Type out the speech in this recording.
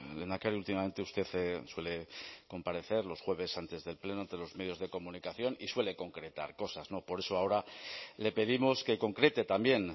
lehendakari últimamente usted suele comparecer los jueves antes del pleno ante los medios de comunicación y suele concretar cosas por eso ahora le pedimos que concrete también